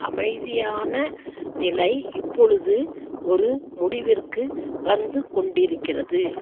அமைதியானநிலை இப்பொழுது ஒரு முடிவிற்கு வந்து கொண்டிருக்கிறது